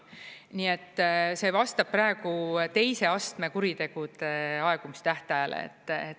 Nii et see vastab praegu teise astme kuritegude aegumistähtajale.